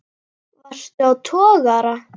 Varstu á togara?